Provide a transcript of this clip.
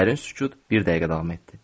Dərin sükut bir dəqiqə davam etdi.